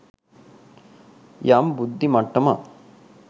යම් බුද්ධි මට්ටමක්